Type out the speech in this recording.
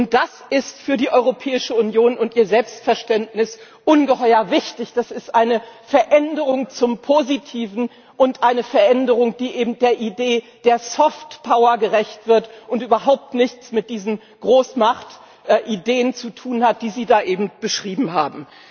Und das ist für die Europäische Union und ihr Selbstverständnis ungeheuer wichtig, das ist eine Veränderung zum Positiven und eine Veränderung, die eben der Idee der Soft Power gerecht wird und überhaupt nichts mit diesen Großmachtideen zu tun hat, die Sie da eben beschrieben haben.